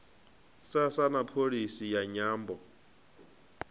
sasa na pholisi ya nyambo